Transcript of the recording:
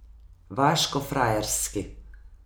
Vaško frajerski.